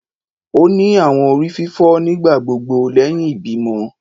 O ni awọn orififo nigbagbogbo lẹhin ibimọ